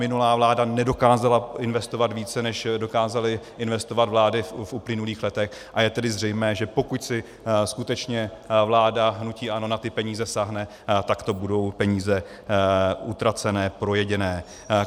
Minulá vláda nedokázala investovat více, než dokázaly investovat vlády v uplynulých letech, a je tedy zřejmé, že pokud si skutečně vláda hnutí ANO na ty peníze sáhne, tak to budou peníze utracené, projedené.